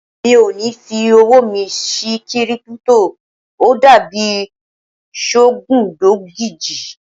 Mi ò ní fi owó mi sí Kírípútò, ó dàbí sọgúndogójì.